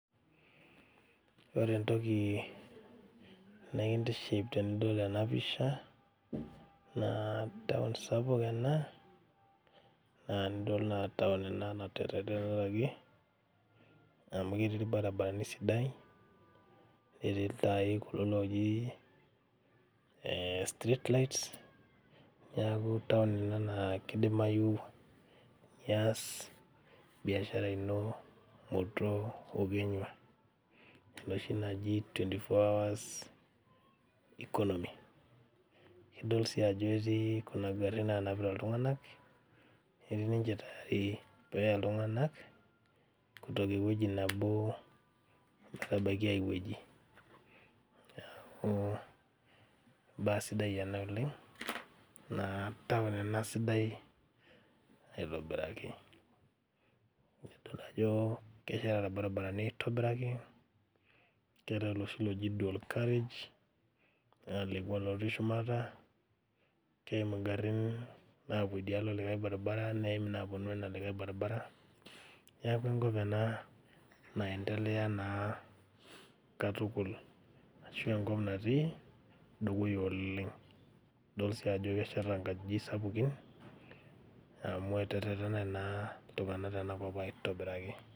Ore entoki nekintiship tenidol ena pisha naa town sapuk ena naa enidol naa town ena naterretekaki amu ketii irbarabarani sidai netii iltai kulo looji eh street lights niaku town ina naa kidimayu nias biashara ino muto okenyua enoshi naji twenty four hours economy idol sii ajo etii kuna garrin nanapita iltung'anak etii ninche tayari peeya iltung'anak kutoka ewueji nabo metabaiki ae wueji niaku imbaa sidai ena oleng naa town ena sidai aitobiraki nidol ajo kesheta irbaribarani aitobiraki keetae oloshi loji dual carriage alekua lotii shumata keimu ingarrin naapuo idialo likae baribara neim inaponu ena likae baribara niaku enkop ena naendelea naa katukul ashu enkop natii dukuya oleng idol sii ajo kesheta inkajijik sapukin amu eterretene naa iltung'anak tenakop aitobiraki.